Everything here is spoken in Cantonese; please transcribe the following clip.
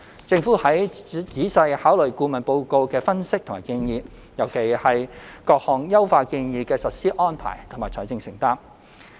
政府會仔細考慮顧問報告的分析和建議，尤其是各項優化建議的實施安排和財政承擔。